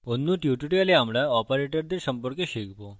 অন্য tutorial আমরা অপারেটরদের সম্পর্কে শিখব